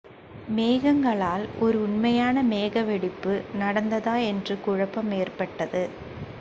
மேகங்களால் ஒரு உண்மையான மேக வெடிப்பு நடந்ததா என்ற குழப்பம் ஏற்பட்டது